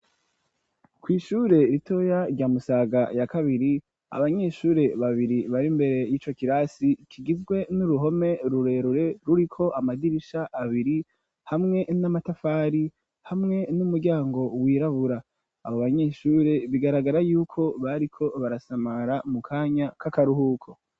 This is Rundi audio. Kw 'ishure ritoya rya musaga ya kabiri abanyeshure babiri bari imbere y'ico kirasi kigizwe n'uruhome rurerure ruriko amadirisha abiri hamwe n'amatafari hamwe n'umuryango w'irabura, abo banyeshure bigaragara yuko bariko barasamara mu kanya k'akaruhuko.